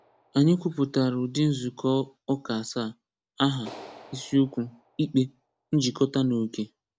Anyị kwuputara ụdị nzukọ ụka asaa: Aha, Isiokwu, ikpe, Njikọta na oke.